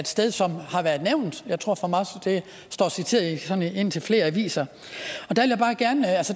sted som har været nævnt jeg tror det står citeret i indtil flere aviser